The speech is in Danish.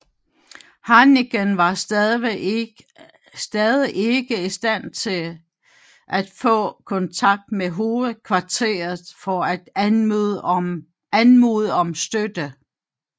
Hanneken var stadig ikke i stand til at få kontakt med hovedkvarteret for at anmode om støtte